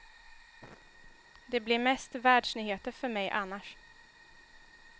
Det blir mest världsnyheter för mig annars.